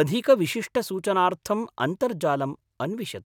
अधिकविशिष्टसूचनार्थम् अन्तर्जालम् अन्विष्यतु।